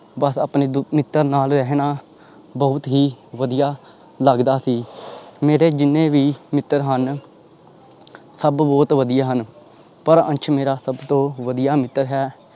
ਬਸ ਆਪਣੇ ਦ ਮਿੱਤਰ ਨਾਲ ਰਹਿਣਾ ਬਹੁਤ ਹੀ ਵੀਆ ਲੱਗਦਾ ਸੀ ਮੇਰੇ ਜਿੰਨੇ ਵੀ ਮਿੱਤਰ ਹਨ ਸਭ ਬਹੁਤ ਵਧਿਆ ਹਨ, ਪਰ ਅੰਸ਼ ਮੇਰਾ ਸਭ ਤੋਂ ਵਧੀਆ ਮਿੱਤਰ ਹੈ।